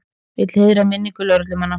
Vill heiðra minningu lögreglumanna